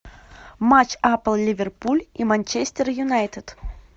матч апл ливерпуль и манчестер юнайтед